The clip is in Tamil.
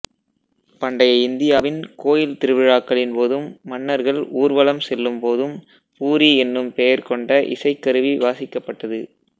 பண்டைய இந்தியாவின் கோயில் திருவிழாக்களின்போதும் மன்னர்கள் ஊர்வலம் செல்லும்போதும் பூரி எனும் பெயர்கொண்ட இசைக் கருவி வாசிக்கப்பட்டது